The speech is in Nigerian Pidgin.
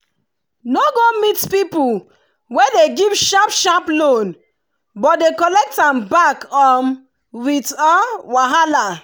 no go meet people wey dey give sharp sharp loan but dey collect back um with wahala.